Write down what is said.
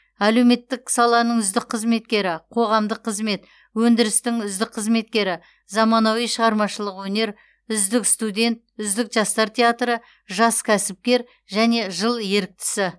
әлеуметтік саланың үздік қызметкері қоғамдық қызмет өндірістің үздік қызметкері заманауи шығармашылық өнер үздік студент үздік жастар театры жас кәсіпкер және жыл еріктісі